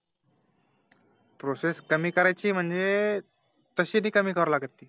Process कमी कार्याची म्हणजे तशी नाही कमी करावी लागत ती